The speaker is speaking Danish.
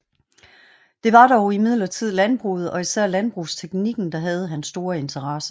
Det var dog imidlertid landbruget og især landbrugsteknikken der havde hans store interesse